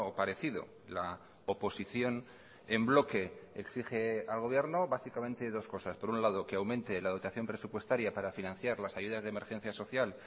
parecido la oposición en bloque exige al gobierno básicamente dos cosas por un lado que aumente la dotación presupuestaria para financiar las ayudas de emergencia social